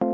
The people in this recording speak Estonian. a e g